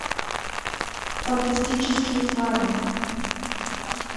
фантастические твари